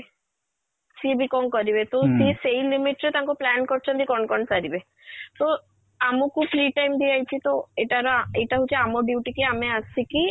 ସିଏ ବି କ'ଣ କରିବେ ତ ସିଏ ସେଇ limit ରେ ତାଙ୍କ plan କରିଛନ୍ତି କ'ଣ କ'ଣ ସାରିବେ so ଆମକୁ free time ଦିଆ ହେଇଚି ତ ଏଇଟା ର ଏଇଟା ହଉଛି ଆମ duty କି ଆମେ ଆସିକି